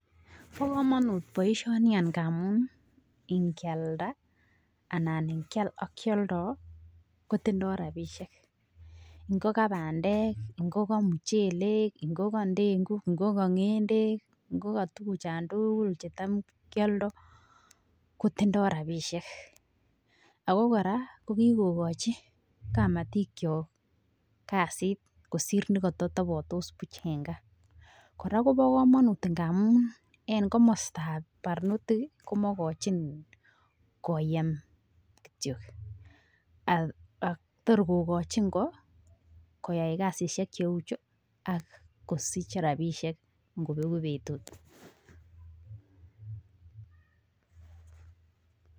Bo komonut boishoni agamun nkialda anan ngial ak kioldo kotindo rabishek ngo kabandek ngo kamuchelek ngo kandenguj ngo kongendek ,ngo katukuchon tukul chutam kioldo kotindo rabishek ako koraa ko kikokochi kamatik kyok kasit kosir nekototobotos buch en gaa. Koraa Kobo komonut ngamun en komostab barnotik kii komokochin koyem kityok ak yor kokochin koyai kasishek cheu chuu ak kosich rabishek nkobeku betut.